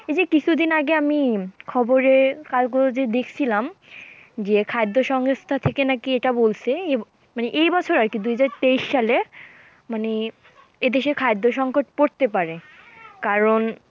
এই যে কিছুদিন আগে আমি খবরে কাগজে দেখছিলাম যে খাদ্য সংস্থা থেকে নাকি এটা বলছে, এ মানে এই বছর আর কি দুই হাজার তেইশ সালে মানে এ দেশের খাদ্য সংকট পড়তে পারে, কারণ